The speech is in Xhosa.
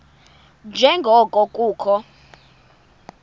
nje ngoko kukho